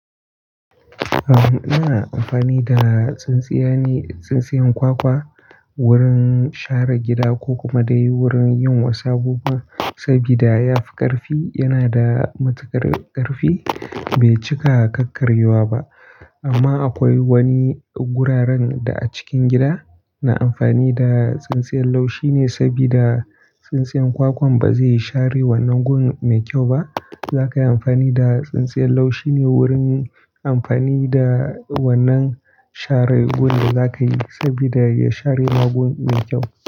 Ahn, ina amfani da tsintsiyane, tsintsiyan kwakwa wurin share gida ko kuma dai wurin yin wasu abubuwa, sabida yafi ƙarfi, yana da matuƙar ƙarfi, bai cika kakkaryuwa ba. Amma akwai wani guraren da a cikin gida, ina amfani da tsintsiyan laushi ne sabida tsintsiyan kwakwan ba zai share wannan gun mai kyau ba. Za ka yi amfani da tsintsiyan laushi ne wurin amfani da wannan share gun da za ka yi, sabida ya share ma gun mai kyau.